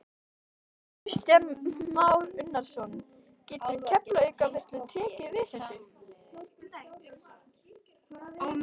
Kristján Már Unnarsson: Getur Keflavíkurflugvöllur tekið við þessu?